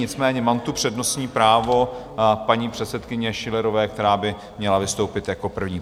Nicméně mám tu přednostní právo paní předsedkyně Schillerové, která by měla vystoupit jako první.